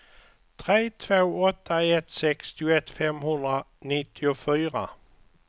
tre två åtta ett sextioett femhundranittiofyra